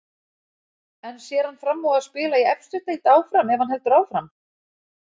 En sér hann fram á að spila í efstu deild áfram ef hann heldur áfram?